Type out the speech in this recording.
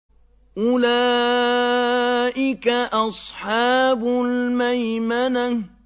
أُولَٰئِكَ أَصْحَابُ الْمَيْمَنَةِ